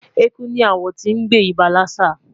Eku ni awon ti n gbe iba lassa